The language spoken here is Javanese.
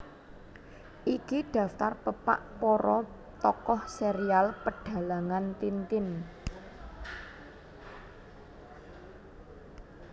Iki daftar pepak para tokoh serial Pedhalangan Tintin